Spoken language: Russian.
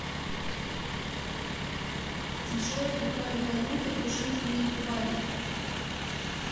джой какая валюта у жителей бали